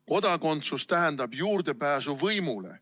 Kodakondsus tähendab juurdepääsu võimule.